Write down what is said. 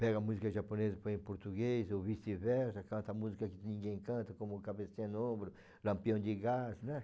Pega música japonesa e põe em português, ou vice-versa, canta música que ninguém canta, como o Cabecinha no Ombro, Lampião de Gás, né?